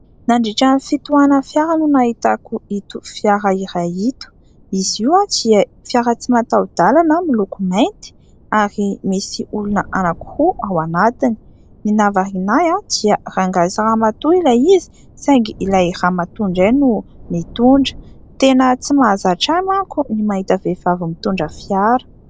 Nandritran'ny fitohanan'ny fiara no nahitako ito fiara iray ito, izy io dia fiara tsy mataho-dàlana miloko mainty ary misy olona anankiroa ao anatiny, ny nahavariana ahy dia rangahy sy ramatoa ilay izy saingy ilay ramatoa indray no mitondra, tena tsy mahazatra ahy manko ny mahita vehivavy mitondra fiara.